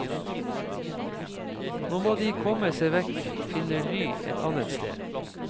Nå må de komme seg vekk, finne ly et annet sted.